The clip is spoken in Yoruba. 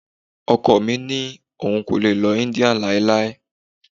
Ọkọ mi ní òun kò lè lọ India láéláé.